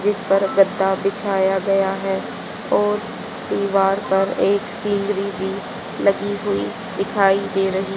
जिस पर गद्दा बिछाया गया है और दीवार पर एक सीढ़ी भी लगी हुई दिखाई दे रही--